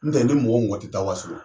N tɛ ni mɔgɔ mɔgɔ ti taa waso